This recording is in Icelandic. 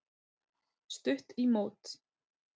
Stutt í mót.